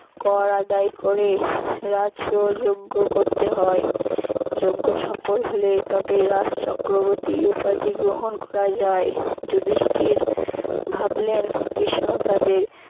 কর আদায় করে রাষ্ট্র যঞ্জ করতে হয় যঞ্জ সফল হলেই তবে রাজ চক্রবর্তী উপাধি গ্রহন করা যায়। যুধিষ্ঠির ভাবলেন কৃষ্ণ তাদের